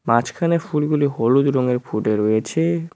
মাঝখানে ফুলগুলি হলুদ রঙের ফুটে রয়েছে।